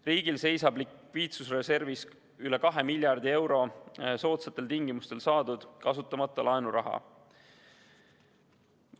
Riigil seisab likviidsusreservis üle 2 miljardi euro soodsatel tingimustel saadud kasutamata laenuraha.